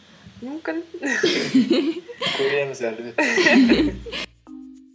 мүмкін көреміз енді